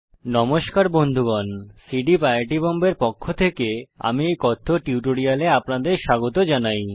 নমস্কার বন্ধুগণ সী ডীপ আই আই টী বোম্বের পক্ষ থেকে আমি এই কথ্য টিউটোরিয়াল এ আপনাদের স্বাগত জানাই